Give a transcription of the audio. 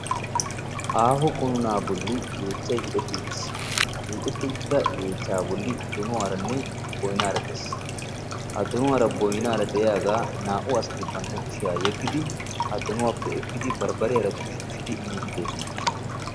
aaho qunuunaa bolli yeechchay hiixetti uttis. ha hiixetti uttida yeechchaa bolli donuwaaranne boyinaara des.ha donuwaara boyinaara de'iyagaa naa'u asati bantta kushiya yegidi ha donuwappe ekkidi barbariyaara tushi tushidi miiddi doosona.